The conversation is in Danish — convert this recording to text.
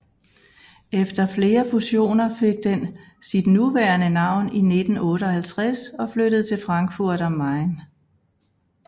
Efter flere fusioner fik den sit nuværende navn i 1958 og flyttede til Frankfurt am Main